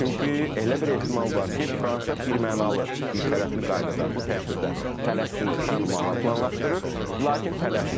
Çünki elə bir ehtimal var ki, Fransa birmənalı birtərəfli qaydada bu tədbirdə Fələstini tanımağı planlaşdırır, lakin tələsmir.